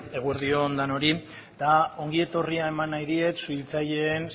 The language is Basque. eguerdi on denoi eta ongi etorria eman nahi diet suhiltzaileen